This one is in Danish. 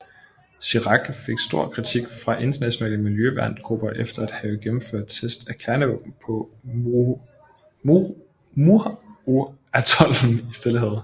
Chirac fik stor kritik fra internationale miljøværngrupper efter at have gennemført test af kernevåben på Mururoaatollen i Stillehavet